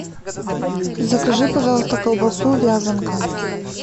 закажи пожалуйста колбасу вязанка